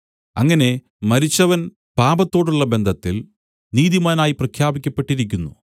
അങ്ങനെ മരിച്ചവൻ പാപത്തോടുള്ള ബന്ധത്തിൽ നീതിമാനായി പ്രാഖ്യാപിക്കപ്പെട്ടിരിക്കുന്നു